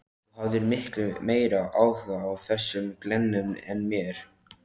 Þú hafðir miklu meiri áhuga á þessum glennum en mér.